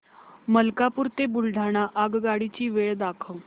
मलकापूर ते बुलढाणा आगगाडी ची वेळ दाखव